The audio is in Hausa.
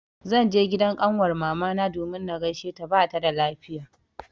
Zan je gidan ƙanwar mamana domin na gaisheta bata da lafiya.